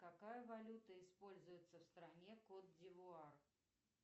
какая валюта используется в стране кот дивуар